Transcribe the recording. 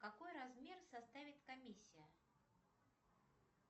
какой размер составит комиссия